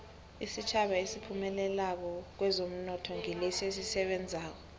isitjhaba esiphumelelako kwezomnotho ngilesi esisebenzako